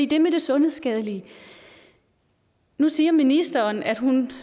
det med det sundhedsskadelige nu siger ministeren at hun